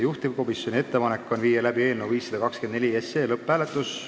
Juhtivkomisjoni ettepanek on panna eelnõu 524 lõpphääletusele.